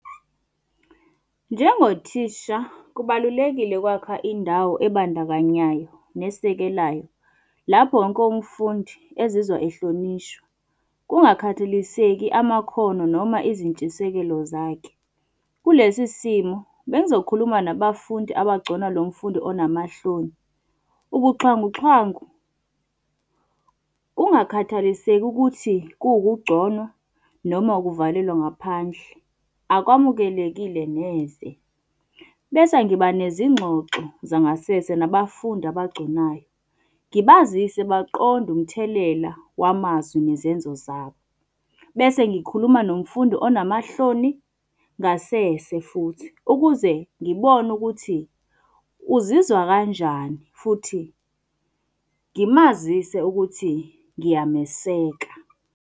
Njengothisha kubalulekile ukwakha indawo ebandakanyayo nesekelayo, lapho wonke umfundi ezizwa ehlonishwa kungakhathaliseki amakhono noma izintshisekelo zakhe. Kulesi simo, bengizokhuluma nabafundi abagcona lo mfundi onamahloni. Ubuxhwanguxhwangu, kungakhathaliseki ukuthi kuwukungconwa noma ukuvalelwa ngaphandle, akwamukelekile neze. Bese ngiba nezingxoxo zangasese nabafundi abagconayo, ngibazise baqonde umthelela wamazwi nezenzo zabo. Bese ngikhuluma nomfundi onamahloni ngasese futhi, ukuze ngibone ukuthi uzizwa kanjani futhi ngimazise ukuthi ngiyameseka.